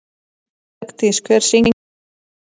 Bergdís, hver syngur þetta lag?